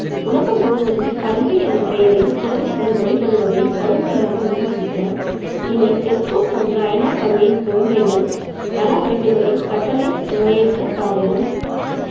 உலகம் முழுவதும் கல்வி எனும் பெயரில் குழந்தைகள் வழிபடுவதை கடுமையாக விமர்சிக்க இனி TESCO போன்ற ஐநா சபையின் குழந்தைகள் நல அமைப்புகளை கட்டளை சுவையற்றதாகவும்